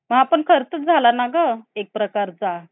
गोष्टी जे आहे त्या अं खूप धोका होतो मुला